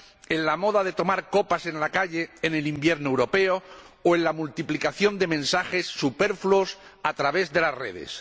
en la moda de tomar copas en la calle en el invierno europeo o en la multiplicación de mensajes superfluos a través de las redes.